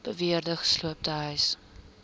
beweerde gesloopte huise